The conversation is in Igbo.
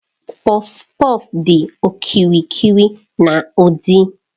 Kpọfkpọf dị okirikiri na udi.